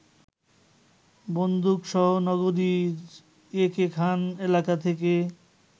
বন্দুকসহ নগরীর একে খান এলাকা থেকে